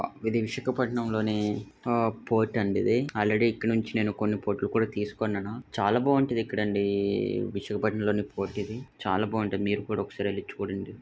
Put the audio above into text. ఇది విశాఖపట్నంలోని పోర్టు ఇది. కొన్ని కోట్లు కూడా తీసుకోండను. చాలా బాగుంటది ఇక్కడ అండి చాలా బాగుంటది మీరు కూడా ఒకసారి వెళ్లి చూడండి